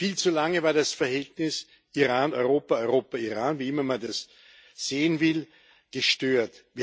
Viel zu lange war das Verhältnis Iran Europa Europa Iran, wie immer man das sehen will, gestört.